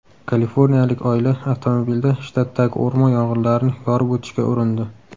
Kaliforniyalik oila avtomobilda shtatdagi o‘rmon yong‘inlarini yorib o‘tishga urindi.